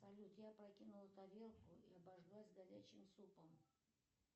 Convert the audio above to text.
салют я опрокинула тарелку и обожглась горячим супом